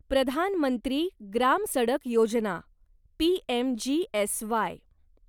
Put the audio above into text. Pradhan Mantri Gram Sadak Yojana PMGSY